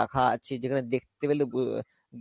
রাখা আছে যেখানে দেখতে পেলে বু~